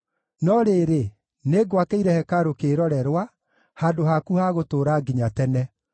No rĩrĩ, nĩngwakĩire hekarũ kĩĩrorerwa, handũ haku ha gũtũũra nginya tene.”